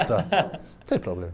Não tem problema.